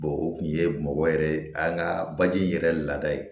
o kun ye bamakɔ yɛrɛ ye an ka baji yɛrɛ laada ye